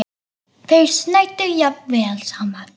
Þeir snæddu jafnvel saman.